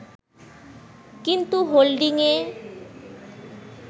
কিন্তু হোল্ডিংয়ে